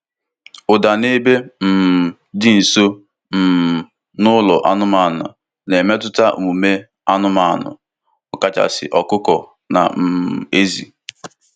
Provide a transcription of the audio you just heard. Ụda n’ebe um dị nso um n'ụlọ anụmanụ na-emetụta omume anụmanụ, ọkachasị ọkụkọ na um ezì.